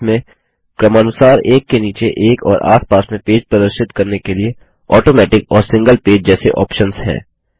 इसमें क्रमानुसार एक के नीचे एक और आस पास में पेज प्रदर्शित करने के लिए ऑटोमेटिक और सिंगल पेज जैसे आप्शन्स हैं